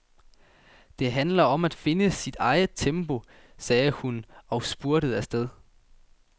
Det handler om at finde sit eget tempo, sagde hun og spurtede afsted.